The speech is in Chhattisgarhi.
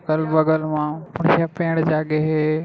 कल बगल मे आऊ पेड़ जागे हे ।